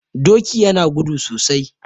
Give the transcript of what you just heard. Doki yana gudu sosai